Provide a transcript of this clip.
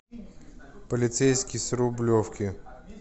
полицейский с рублевки